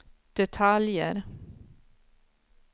detaljer